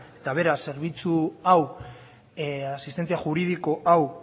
eta bera zerbitzu hau asistentzia juridiko hau